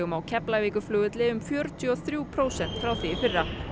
á Keflavíkurflugvelli um fjörutíu og þrjú prósent frá því í fyrra